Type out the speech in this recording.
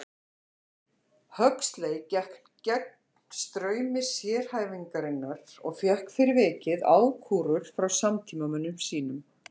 Huxley gekk gegn straumi sérhæfingarinnar og fékk fyrir vikið ákúrur frá samtímamönnum sínum.